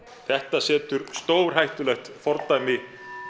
þetta setur stórhættulegt fordæmi